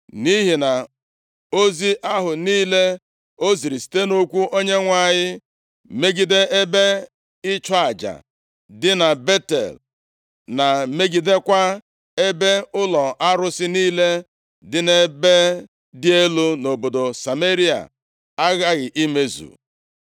Nʼihi na ozi ahụ niile o ziri site nʼokwu Onyenwe anyị megide ebe ịchụ aja dị na Betel, na megidekwa ebe ụlọ arụsị niile dị nʼebe dị elu nʼobodo Sameria aghaghị imezu.”